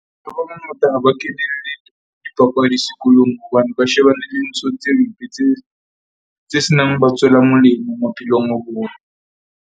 Ba bangata ha ba kenele dipapadi sekolong hobane ba shebane le ntho tse mpe tse se nang ho ba tswela molemo maphelong a bona.